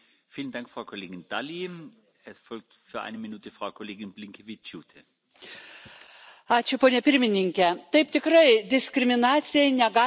Gerbiamas Pirmininke, taip, tikrai, diskriminacijai negali būti vietos Europos Sąjungoje.